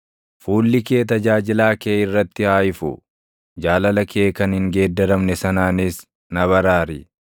Fuulli kee tajaajilaa kee irratti haa ifu; jaalala kee kan hin geeddaramne sanaanis na baraari.